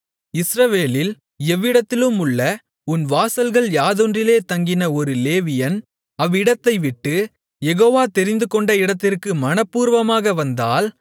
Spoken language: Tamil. இஸ்ரவேலில் எவ்விடத்திலுமுள்ள உன் வாசல்கள் யாதொன்றிலே தங்கின ஒரு லேவியன் அவ்விடத்தை விட்டு யெகோவா தெரிந்துகொண்ட இடத்திற்கு மனப்பூர்வமாக வந்தால்